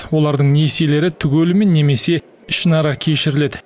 олардың несиелері түгелімен немесе ішінара кешіріледі